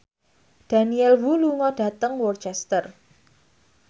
Daniel Wu lunga dhateng Worcester